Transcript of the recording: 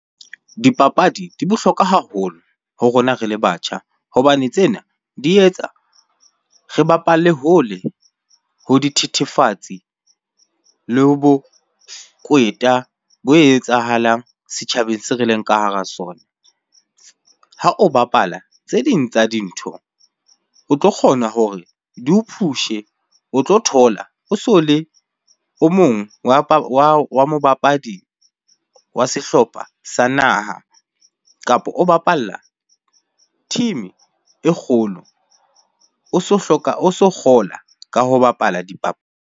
Dipapadi di bohlokwa haholo ho rona re le batjha hobane tsena di etsa re bapalle hole ho dithethefatsi le ho bokweta bo etsahalang setjhabeng se re leng ka hara sona. Ha o bapala tse ding tsa dintho, o tlo kgona hore di o push-e, o tlo thola o so le o mong wa mobapadi wa sehlopha sa naha kapa o bapalla team-e kgolo. O so hloka, o so kgola ka ho bapala .